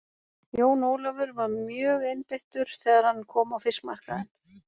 Jón Ólafur var mjögeinbeittur þegar hann kom á fiskmarkaðinn.